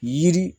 Yiri